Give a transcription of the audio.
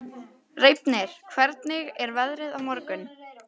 Reifnir, hvernig er veðrið á morgun?